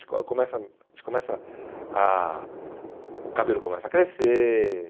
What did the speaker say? começa a gente começa a... O cabelo começa a crescer.